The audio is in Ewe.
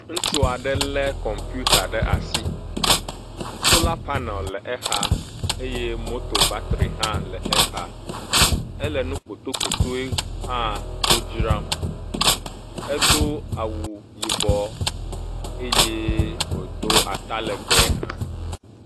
Ŋutsu aɖe le kɔmputa ɖe asi. Sola panel le exa eye moto batri hã le exa. Ele nu kpotokpotoe hã wo dzram. Edo awu yibɔ eye wodo atalegbe hã.